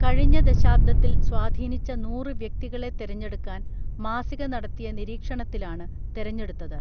കഴിഞ്ഞ ദശാബ്ദത്തിൽ സ്വാധീനിച്ച നൂറ് വ്യക്തികളെ തെരഞ്ഞെടുക്കാൻ മാസിക നടത്തിയ നിരീക്ഷണത്തിലാണ് തെരഞ്ഞെടുത്തത്